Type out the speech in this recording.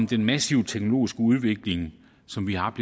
den massive teknologiske udvikling som vi har